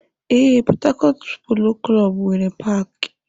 Ee, Port Harcourt polo klọb nwere paaki.